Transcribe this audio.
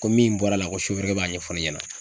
Ko min bɔra la ko sofɛrikɛ b'a ɲɛfɔ ne ɲɛna.